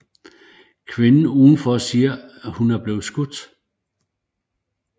Kvinden udenfor siger hun er blevet skudt